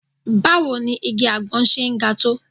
Báwo ni igi àgbọn ṣe ń ga tó?